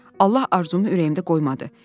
Allah arzumu ürəyimdə qoymadı.